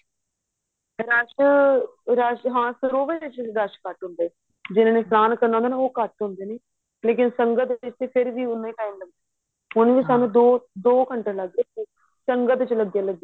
rush rush ਹਾਂ ਸਰੋਵਰ ਚ ਘੱਟ ਹੁੰਦਾ ਜਿਹਨੇ ਇਸ਼ਨਾਨ ਕਰਨਾ ਹੁੰਦਾ ਉਹ ਘੱਟ ਹੁੰਦੇ ਨੇ ਲੇਕਿਨ ਸੰਗਤ ਦੇ ਵਿੱਚ ਫ਼ੇਰ ਵੀ ਉਹਨਾ ਹੀ time ਲੱਗਦਾ ਹੁਣ ਵੀ ਸਾਨੂੰ ਦੋ ਘੰਟੇ ਲੱਗ ਗਏ ਸੰਗਤ ਵਿੱਚ ਲੱਗੇ ਲੱਗੇ